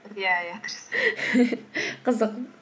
иә иә дұрыс қызық